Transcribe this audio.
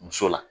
Muso la